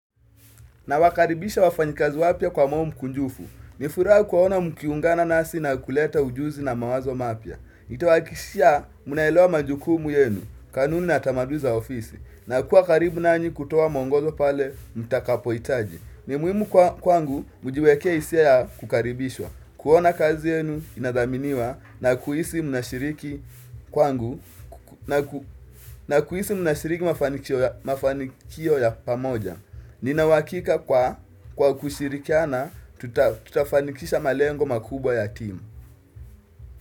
Nawakaribisha wafanyikazi wapya kwa moyo mkunjufu. Nifuraha kuwaona mkiungana nasi na kuleta ujuzi na mawazo mapya. Nitawahakishia mnaelewa majukumu yenu, kanuni na tamaduni za ofisi, na kuwa karibu nanyi kutoa muongozo pale mtakapo hitaji. Ni muhimu kwangu kujiwekea hisia ya kukaribishwa, kuona kazi yenu inadhaminiwa na kuhisi mnashiriki kwangu na kuhisi mnashiriki mafanikio ya pamoja. Ninauhakika kwa kushirikiana tutafanikisha malengo makubwa ya team.